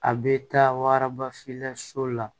A bɛ taa waraba filila so la